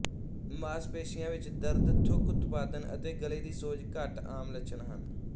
ਮਾਸਪੇਸ਼ੀਆਂ ਵਿੱਚ ਦਰਦ ਥੁੱਕ ਉਤਪਾਦਨ ਅਤੇ ਗਲ਼ੇ ਦੀ ਸੋਜ ਘੱਟ ਆਮ ਲੱਛਣ ਹਨ